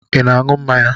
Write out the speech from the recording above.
I na-aṅụ mmanya?